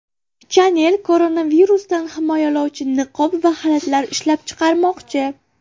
Chanel koronavirusdan himoyalovchi niqob va xalatlar ishlab chiqarmoqchi.